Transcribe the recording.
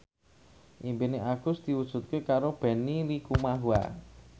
impine Agus diwujudke karo Benny Likumahua